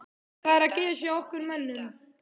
Hvað er að gerast hjá okkar mönnum?